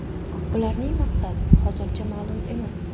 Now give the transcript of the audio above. Ularning maqsadi hozircha ma’lum emas.